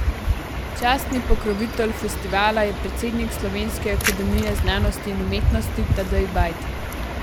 Častni pokrovitelj festivala je predsednik Slovenske akademije znanosti in umetnosti Tadej Bajd.